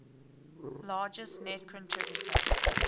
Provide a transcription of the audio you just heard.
largest net contributor